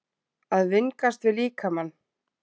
AÐ VINGAST VIÐ LÍKAMANN